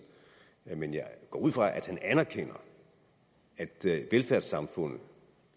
men jeg går ud fra at han anerkender at velfærdssamfundet